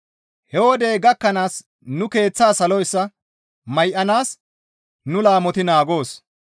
He wodey gakkanaas nu keeththaa saloyssa may7anaas nu laamoti naagoos.